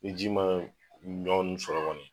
Ni ji maa dɔɔni sɔrɔ kɔni